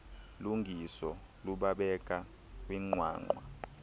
lungiso lubabeke kwinqwanqwa